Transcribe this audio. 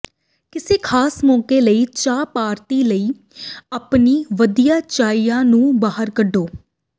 ਕਿਸੇ ਖ਼ਾਸ ਮੌਕੇ ਲਈ ਚਾਹ ਪਾਰਟੀ ਲਈ ਆਪਣੀ ਵਧੀਆ ਚਾਈਨਾ ਨੂੰ ਬਾਹਰ ਕੱਢੋ